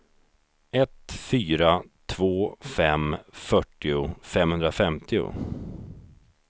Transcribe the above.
ett fyra två fem fyrtio femhundrafemtio